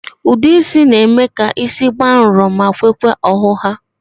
Ude isi n'eme ka isi gbàà nrò ma kwekwaa ọhụha